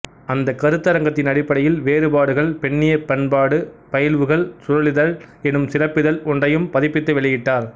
அந்தக் க்ருத்தரங்கத்தின் அடிப்படையில் வேறுபாடுகள் பெண்ணியப் பண்பாட்டுப் பயில்வுகள் சுழலிதழ் எனும் சிறப்பிதழ் ஒன்றையும் பதிப்பித்து வெளியிட்டார்